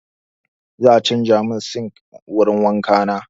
Za a canza min sinkin wurin wanka na.